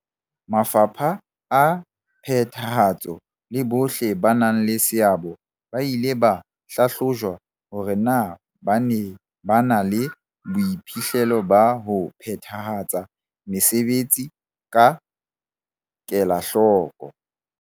Mafapha a phethahatso le bohle ba nang le seabo ba ile ba hlahlojwa hore na ba ne ba na le boiphihlelo ba ho phethahatsa mesebetsi ka kelahloko.